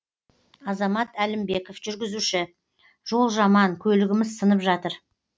азамат әлімбеков жүргізуші жол жаман көлігіміз сынып жатыр